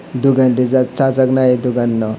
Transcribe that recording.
dogan rijak sajak nai dogan no.